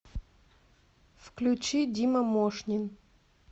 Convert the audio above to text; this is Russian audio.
включи дима мошнин